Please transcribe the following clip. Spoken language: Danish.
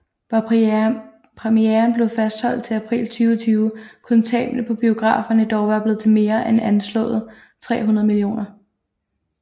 Var premieren blevet fastholdt til april 2020 kunne tabene på biograferne dog være blevet til mere end anslået 300 mio